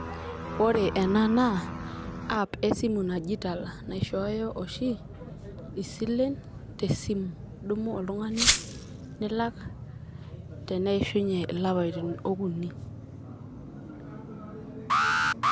Ore ena naa app esimu naji tala ,naishooyo oshi isilen te simu. idumu oltungani nilak teneishunye ilapaitin okuni.